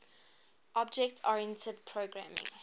object oriented programming